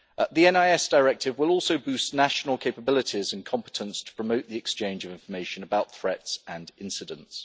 The NIS Directive will also boost national capabilities and competence to promote the exchange of information about threats and incidents.